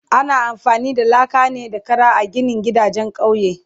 Ana amfani da laka ne da Kara a ginin gidajen kauye